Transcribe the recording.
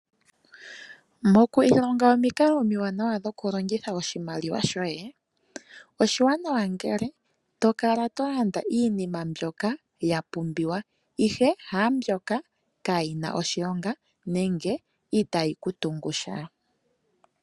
Moku ilonga omikalo omiwanawa dhokulongitha oshimaliwa shoye, oshiwanawa ngele to kala to landa iinima mbyoka ya pumbiwa ashike haambyoka kaayina oshilonga nenge itaayi ku tungu sha.